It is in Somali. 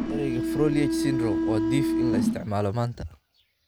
Erayga 'Froelich syndrome' waa dhif in la isticmaalo maanta.